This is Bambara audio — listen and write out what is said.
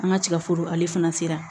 An ka cɛforo ale fana sera